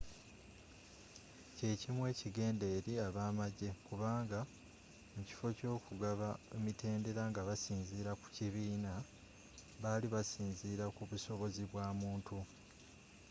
kyekimu ekigenda eri ab'amajje kubanga mukiffo ky'ogugaba emitendera nga basinziira ku kibiina bali basinziira kubusobozi bwamuntu